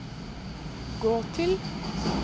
gå til